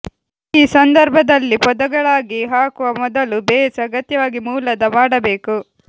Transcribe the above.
ಈ ಸಂದರ್ಭದಲ್ಲಿ ಪೊದೆಗಳಾಗಿ ಹಾಕುವ ಮೊದಲು ಬೇಸ್ ಅಗತ್ಯವಾಗಿ ಮೂಲದ ಮಾಡಬೇಕು